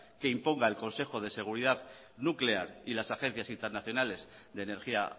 que impongan el consejo de seguridad nuclear y las agencias internacionales de energía